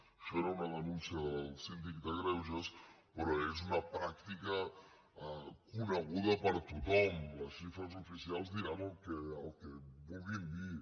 això era una denúncia del síndic de greuges però és una pràctica coneguda per tothom les xifres oficials diran el que vulguin dir